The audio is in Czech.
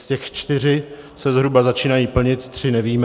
Z těch se čtyři zhruba začínají plnit, tři nevíme.